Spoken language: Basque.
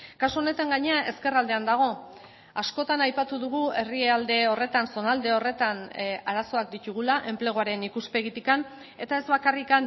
kasu honetan gainera ezkerraldean dago askotan aipatu dugu herrialde horretan zonalde horretan arazoak ditugula enpleguaren ikuspegitik eta ez bakarrik